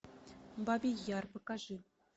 бабий яр покажи